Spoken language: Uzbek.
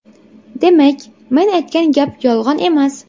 Demak, men aytgan gap yolg‘on emas.